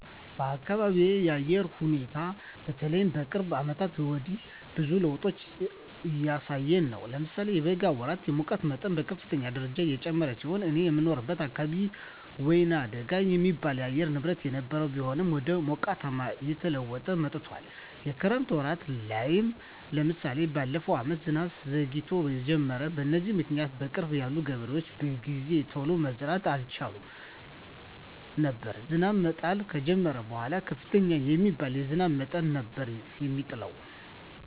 የአካቢየ የአየር ሁኔታ በተለይ ከቅርብ አመታት ወዲህ ብዙ ለዉጦች እያሳየ ነው። ለምሳሌ የበጋ ወራት የሙቀት መጠን በከፍተኛ ደረጃ የጨመረ ሲሆን እኔ የምኖርበት አካባቢ ወይናደጋ የሚባል የአየር ንብረት የነበረው ቢሆንም ወደ ሞቃታማነት እየተለወጠ መጥቶአል። የክረምት ወራት ላይም ለምሳሌ በለፈው አመት ዝናብ ዘግይቶ የጀመረው። በዚህም ምክኒያት በቅርብ ያሉ ገበሬዎች በጊዜ ቶሎ መዝራት አልቻሉም ነበር። ዝናብ መጣል ከጀመረም በኃላ ከፍተኛ የሚባል የዝናብ መጠን ነበር የሚጥለው።